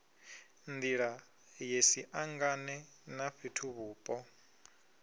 nḓila ye siangane na fhethuvhupo